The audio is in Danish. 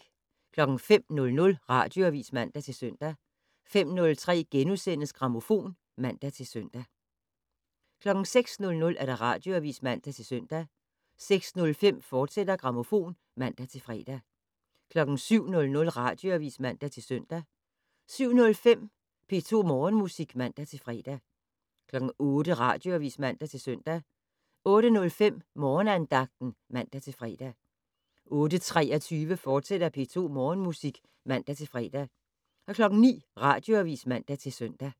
05:00: Radioavis (man-søn) 05:03: Grammofon *(man-søn) 06:00: Radioavis (man-søn) 06:05: Grammofon, fortsat (man-fre) 07:00: Radioavis (man-søn) 07:05: P2 Morgenmusik (man-fre) 08:00: Radioavis (man-søn) 08:05: Morgenandagten (man-fre) 08:23: P2 Morgenmusik, fortsat (man-fre) 09:00: Radioavis (man-søn)